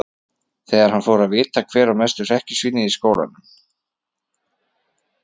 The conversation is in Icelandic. Þegar hann fær að vita hver er mesta hrekkjusvínið í skólanum!